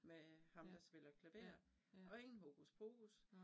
Med ham der spiller klaver og ingen hokus pokus